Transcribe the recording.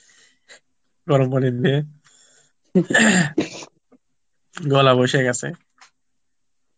গরম পানি দিয়ে, গলা বসে গেছে